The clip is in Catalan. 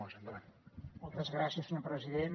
moltes gràcies senyor president